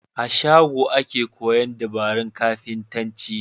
A shago ake koyan dabarun kafintanci